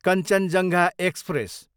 Kanchenjunga express